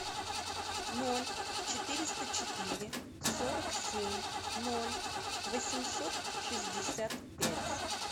ноль четыреста четыре сорок семь ноль восемьсот шестьдесят пять